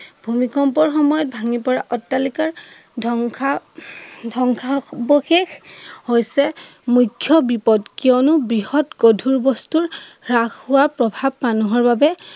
ভূমিকম্পৰ সময়ত ভাঙিপৰা অত্তালিকাৰ ধ্বংসা ধ্বংসাৱশেষ হৈছে মুখ্য় বিপদ কিয়নে বৃহৎ গধুৰ বস্তু হ্ৰাস হোৱাৰ প্ৰভাৱ মানুহৰ বাবে